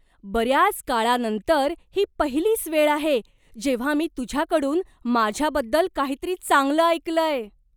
बऱ्याच काळानंतर ही पहिलीच वेळ आहे जेव्हा मी तुझ्याकडून माझ्याबद्दल काहीतरी चांगलं ऐकलंय.